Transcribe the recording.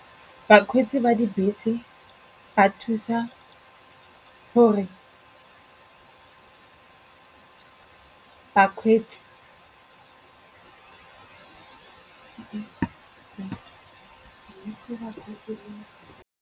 Bakgweetsi ba dibese ba thusa gore bakgweetsi.